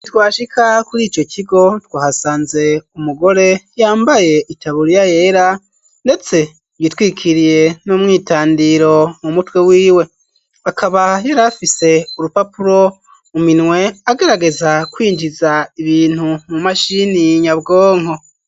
Twashika kurico kigo twahasanze umugore yambaye itaburiya yera ndetse yitwikiriye n'umwitandiro mu mutwe wiwe akaba yarafise urupapuro mu minwe agerageza kwinjiza ibintu mu mashini nyabwonko.